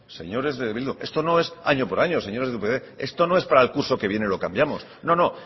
señores de bildu esto no es año por año señores de upyd esto no es para el curso que viene lo cambiamos no no